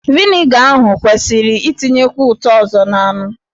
Vịnịga ahụ kwesịrị itinyekwu ụtọ ọzọ n'anụ.